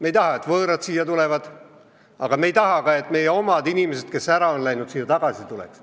Me ei taha, et võõrad siia tulevad, aga me ei taha ka, et meie omad inimesed, kes on ära läinud, tagasi tuleks.